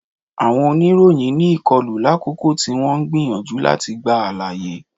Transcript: Awọn onìròyìn ní ìkọlu, lakoko ti o n gbiyanju lati gba alaye.